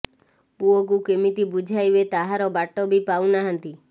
ପୁଅକୁ କେମିତି ବୁଝାଇବେ ତାହାର ବାଟ ବି ପାଉ ନାହାନ୍ତି